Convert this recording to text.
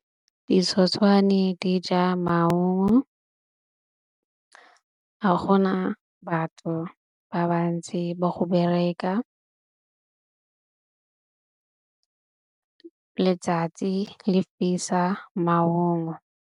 Ditshotshwane di ja maungo a gona batho ba bantsi ba go bereka letsatsi le fisa maungo.